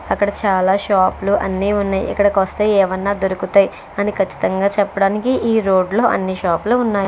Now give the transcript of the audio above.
అక్కడ చాలా షాపులు అన్నీ ఉన్నాయ్ ఇక్కడకొస్తే ఏమన్నా దొరుకుతాయ్ అని ఖచ్చితంగా చెప్పడానికి ఈ రోడ్లో అన్ని షాపులో ఉన్నాయి.